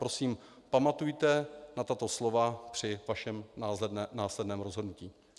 Prosím, pamatujte na tato slova při svém následném rozhodnutí.